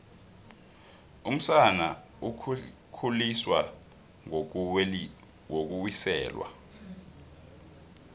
umsana ukhuliswa ngokuwiselwa